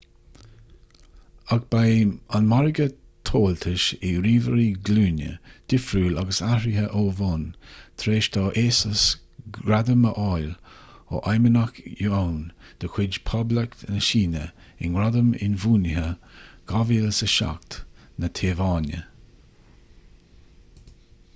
ach beidh an margadh tomhaltais do ríomhairí glúine difriúil agus athraithe ó bhonn tar éis do asus gradam a fháil ó feidhmeannach yuan de chuid poblacht na síne i ngradam inbhuanaithe 2007 na téaváine